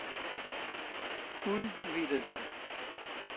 udvidelse